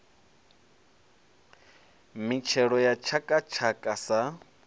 mitshelo ya tshaka tshaka sa